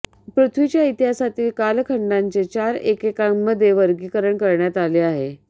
पृथ्वीच्या इतिहासातील कालखंडांचे चार एककांमध्ये वर्गीकरण करण्यात आले आहे